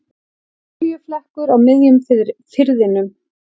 Olíuflekkur á miðjum firðinum